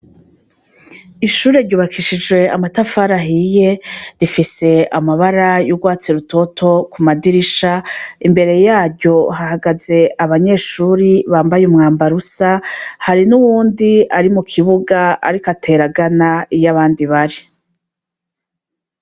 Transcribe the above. Ishuri ryubakishije amatafarahiye rifise amabara y'urwatse rutoto ku madirisha imbere yaryo hahagaze abanyeshuri bambaye umwambarusa hari n'uwundi ari mu kibuga, ariko ateragana iyo abandi bari.